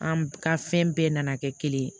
An ka fɛn bɛɛ nana kɛ kelen ye